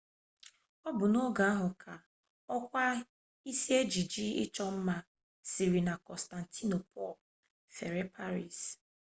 ọ bụ n'oge ahụ ka okwa isi ejiji ịchọ ma siri na kọnstantinopul fere paris